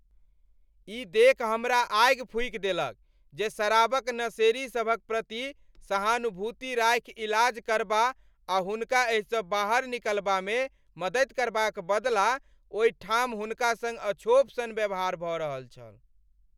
ई देखि हमरा आगि फूकि देलक जे शराब क नशेड़ी सभक प्रति सहानुभूति राखि इलाज करबा आ हुनका एहिसँ बाहर निकलबामे मददि करबाक बदला ओहि ठाम हुनका सङ्ग अछोप सन व्यवहार भऽ रहल छल।